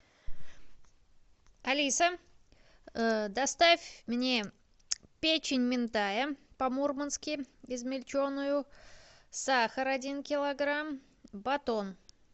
алиса доставь мне печень минтая по мурмански измельченную сахар один килограмм батон